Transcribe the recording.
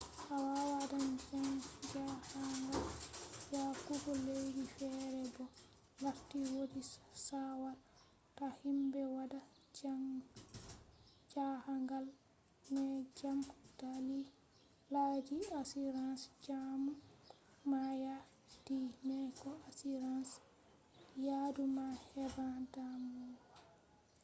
to awadan jahangal yahugo laddi fere bo larti wodi sawara ta himbe wada jahangal mai gam dalilaji insurance jamu ma ya yadu mai ko insurance yadu ma heban damuwa